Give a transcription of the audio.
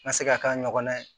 N ka se ka k'a ɲɔgɔnna ye